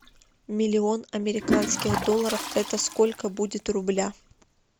миллион американских долларов это сколько будет в рублях